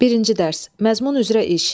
Birinci dərs, məzmun üzrə iş.